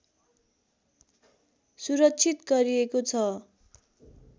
सुरक्षित गरिएको छ